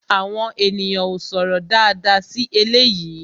Àwọn ènìyàn ó sọ̀rọ̀ dáadáa sí eléyìí